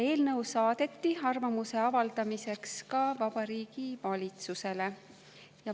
Eelnõu saadeti arvamuse avaldamiseks ka Vabariigi Valitsusele.